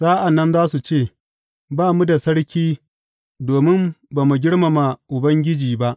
Sa’an nan za su ce, Ba mu da sarki domin ba mu girmama Ubangiji ba.